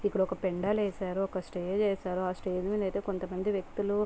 ఇక్కడ ఒక పెండాలు వేశారు. ఒక స్టేజ్ వేశారు. ఆ స్టేజ్ మీద అయితే కొంత మంది వ్యక్తులు--